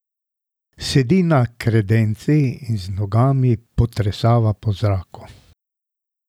Sedi na kredenci in z nogami potresava po zraku.